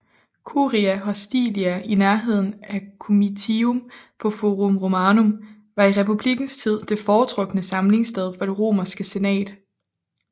Curia Hostilia i nærheden af Comitium på Forum Romanum var i republikkens tid det foretrukne samlingssted for det romerske senat